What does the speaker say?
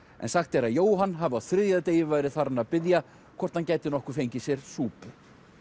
en sagt er að Jóhann hafi á þriðja degi verið farinn að biðja hvort hann gæti nokkuð fengið sér súpu